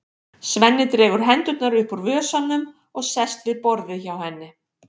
Svenni dregur hendurnar upp úr vösunum og sest við borðið hjá henni.